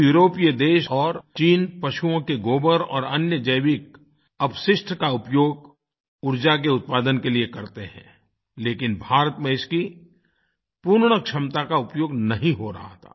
कुछ यूरोपीय देश और चीन पशुओं के गोबर और अन्य जैविक अपशिष्ट का उपयोग ऊर्जा के उत्पादन के लिए करते हैं लेकिन भारत में इसकी पूर्ण क्षमता का उपयोग नहीं हो रहा था